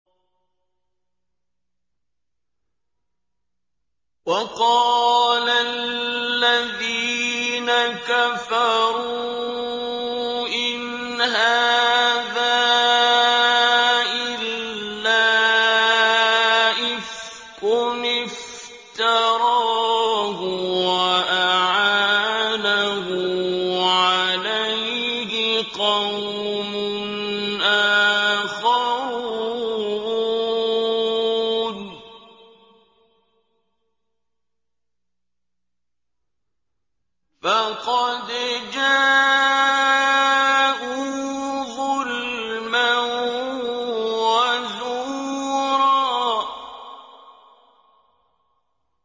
وَقَالَ الَّذِينَ كَفَرُوا إِنْ هَٰذَا إِلَّا إِفْكٌ افْتَرَاهُ وَأَعَانَهُ عَلَيْهِ قَوْمٌ آخَرُونَ ۖ فَقَدْ جَاءُوا ظُلْمًا وَزُورًا